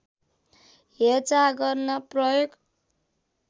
हेरचाह गर्न प्रयोग